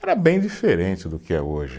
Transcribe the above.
Era bem diferente do que é hoje.